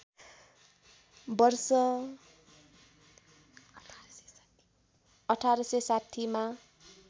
वर्ष १८६० मा